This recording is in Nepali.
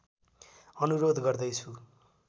अनुरोध गर्दै छु